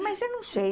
Mas eu não sei.